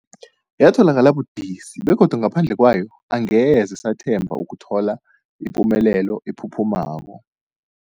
Yatholakala budisi, begodu ngaphandle kwayo angeze sathemba ukuthola ipumelelo ephuphumako.